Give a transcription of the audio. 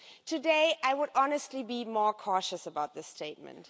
Today, I would honestly be more cautious about this statement.